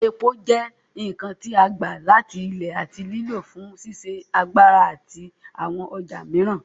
Epo jẹ́ nǹkan tí a gbà láti Ilẹ̀ àti lílò fún ṣíṣe agbára àti àwọn ọjà mìíràn.